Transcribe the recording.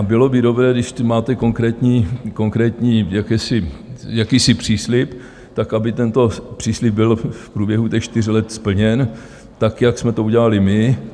A bylo by dobré, když máte konkrétní jakýsi příslib, tak aby tento příslib byl v průběhu těch čtyř let splněn, tak jak jsme to udělali my.